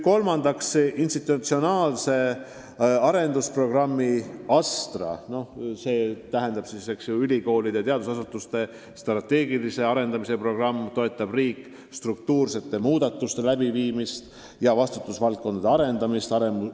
Kolmandaks, institutsionaalset arendusprogrammi ASTRA, st ülikoolide ja teadusasutuste strateegilise arendamise programmi, toetab riik struktuursete muudatuste läbiviimise ja vastutusvaldkondade arendamisega.